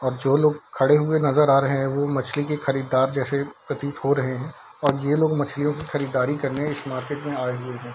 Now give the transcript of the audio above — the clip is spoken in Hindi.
और जो लोग खड़े हुए नजर आ रहें हैं वो मछली के खरीदार जैसे प्रतीत हो रहें हैं और ये लोग मछलियों की खरीदारी करने इस मार्केट में आये हुए हैं।